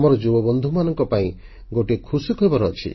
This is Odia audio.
ଆମର ଯୁବବନ୍ଧୁମାନଙ୍କ ପାଇଁ ଗୋଟିଏ ଖୁସି ଖବର ଅଛି